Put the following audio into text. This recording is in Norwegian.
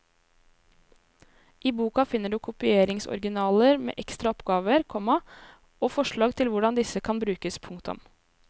I boka finner du kopieringsoriginaler med ekstra oppgaver, komma og forslag til hvordan disse kan brukes. punktum